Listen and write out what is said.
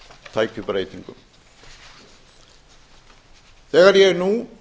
tækju breytingum þegar ég nú